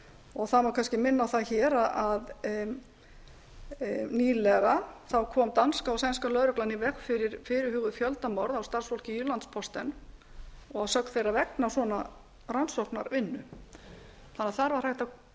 og það má kannski minna á það hér að nýlega kom danska og sænska lögreglan í veg fyrir fyrirhuguð fjöldamorð á starfsfólki í landsposten og að sögn þeirra vegna svona rannsóknarvinnu þetta kom